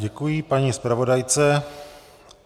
Děkuji paní zpravodajce.